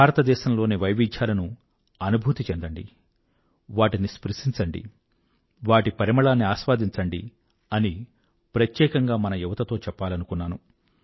భారతదేశంలోని వైవిధ్యాలను అనుభూతి చెందండి వాటిని స్పృశించండి వాటి పరిమళాన్ని అస్వాదించండి అని ప్రత్యేకంగా మన యువతతో చెప్పాలనుకున్నాను